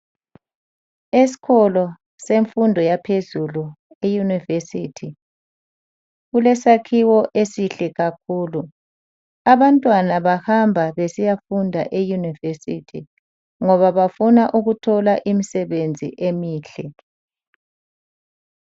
Esikolo semfundo yaphezulu eyunivesithi. Kulesakhiwo esihle kakhulu. Abantwana bahamba besiyafunda eyunivesithi ngoba bafuna ukuthola imisebenzi emihle.